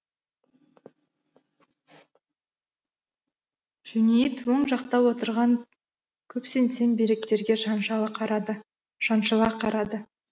жөнейіт оң жақта отырған көп сеңсең бөріктерге шаншала қарады шаншыла қарады